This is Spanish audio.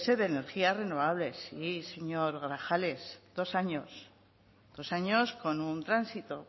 de energías renovables sí señor grajales dos años dos años con un tránsito